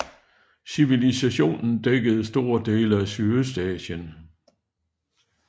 Civilisationen dækkede store dele af Sydøstasien